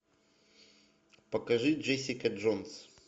покажи джессика джонс